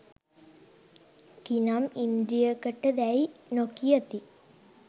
කිනම් ඉන්ද්‍රියකට දැයි නො කියති